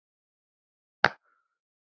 Anton varði frá honum.